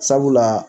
Sabula